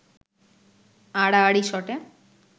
আড়াআড়ি শটে